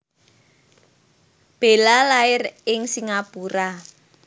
Bella lair ing Singapura